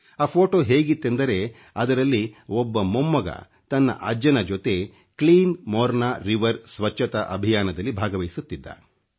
ಆ ಫೋಟೋ ಹೇಗಿತ್ತೆಂದರೆ ಅದರಲ್ಲಿ ಒಬ್ಬ ಮೊಮ್ಮಗ ತನ್ನ ಅಜ್ಜನ ಜೊತೆ ಅಟeಚಿಟಿ ಒoಡಿಟಿಚಿ ಖiveಡಿ ಸ್ವಚ್ಚತಾ ಅಭಿಯಾನದಲ್ಲಿ ಭಾಗವಹಿಸುತ್ತಿದ್ದ